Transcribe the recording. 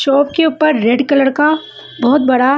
shop के उपर red colour का बहोत बड़ा--